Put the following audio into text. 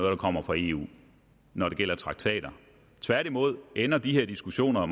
er kommet fra eu når det gælder traktater tværtimod ender de her diskussioner